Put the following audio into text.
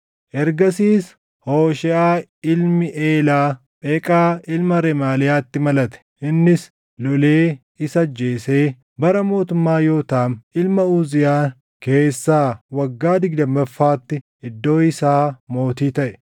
Ergasiis Hoosheeʼaa ilmi Eelaa, Pheqaa ilma Remaaliyaatti malate. Innis lolee isa ajjeesee bara mootummaa Yootaam ilma Uziyaan keessaa waggaa digdammaffaatti iddoo isaa mootii taʼe.